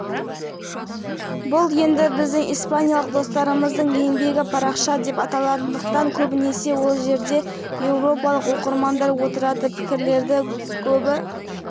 ағылшын және испан тілдерінде жазылған ең бастысы барлығы анонимді түрде жасалады біздің аты-жөнімізді кім екенімізді ешкім